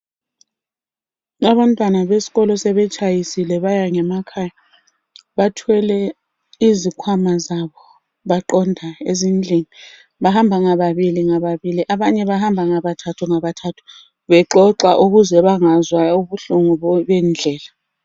Abantwana besikolo sebetshayisile baya ngemakhaya. Bathwele izikhwama zabo baqonda ezindlini bahamba ngababili ngababili, abanye bahamba ngabathathu ngabathathu, bexoxa ukuze bengezwa ubuhlungu bendlela.